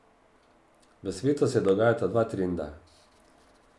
V svetu se dogajata dva trenda.